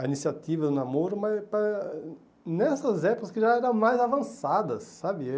a iniciativa do namoro, mas nessas épocas que já eram mais avançadas, sabe?